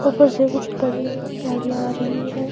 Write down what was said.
ऊपर से कुछ बड़ी गाड़ियां आ रही है।